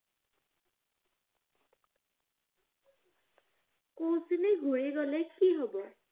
কুছিন ঘূৰি গলে কি হব?